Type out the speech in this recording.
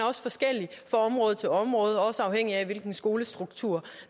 også forskellig fra område til område også afhængigt af hvilken skolestruktur